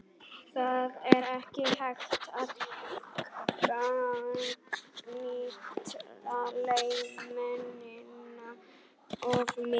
Það er ekki hægt að gagnrýna leikmennina of mikið.